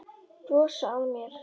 Brosa að mér!